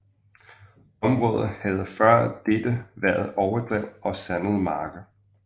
Området havde før dette været overdrev og sandede marker